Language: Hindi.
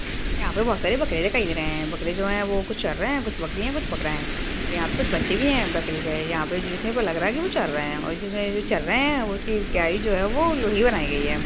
यहां पर बहोत सारी बकरिया दिखाई दे रहे हैं बकरे हो है वो कुछ चर रहै हैं कुछ बकरी है और कुछ बकरा है और यहां पे कुछ बच्चे भी हैं बकरी के यहाँ पे जो दिख रहे है वो लग रहा है कि वो चर रहै हैं और जिसमे ये जो चर रहे है वो सिर्फ क्या ही है जो लोही बनाई गयी है।